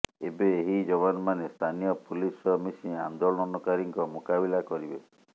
ଏବେ ଏହି ଯବାନମାନେ ସ୍ଥାନୀୟ ପୁଲିସ୍ ସହ ମିଶି ଆନ୍ଦୋଳନକାରୀଙ୍କ ମୁକାବିଲା କରିବେ